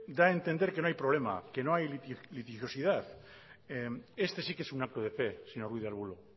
da a entender que no hay problemas que no hay litigiosidad este sí que es un acto de fe señor ruiz de arbulo